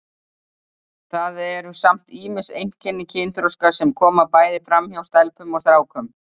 Það eru samt ýmis einkenni kynþroska sem koma bæði fram hjá stelpum og strákum.